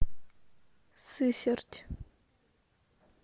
сысерть